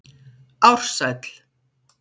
Ársæll